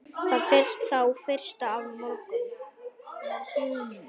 Þá fyrstu af mörgum.